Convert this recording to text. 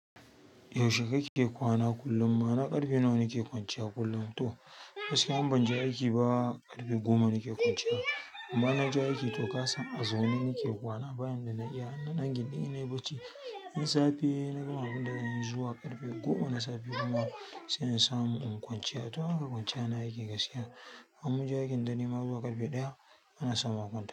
Yaushe kake kwana kullum? Ma'ana ƙarfe nawa nake kwanciya kullum to. Gaskiya in ban je aiki ba, ƙarfe goma nake kwanciya. Amma inna je aiki to kasan a zaune nake kwana bayan da na iya. Nan a gidan ina ɓaci. In safe na gama abun da nayi zuwa ƙarfe goma. Na safe kuma sai in samu in kwanciya. To haka kwanciya na yake gaskiya. In munje aikin dare ma zuwa ƙarfe ɗaya.